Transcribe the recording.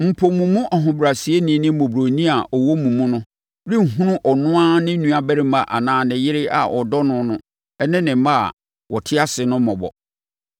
Mpo, mo mu ɔhobrɛaseni ne mmɔborɔni a ɔwɔ mo mu no renhunu ɔno ara ne nuabarima anaa ne yere a ɔdɔ no no ne ne mma a wɔte ase no so mmɔbɔ,